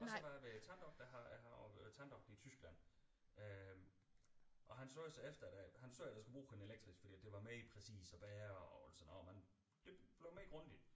Og så var jeg ved tanddoktor her jeg har tanddoktor i Tyskland øh og han sagde så efter han sagde jeg skulle bruge en elektrisk fordi at det var mere præcis og værre og det blev mere grundigt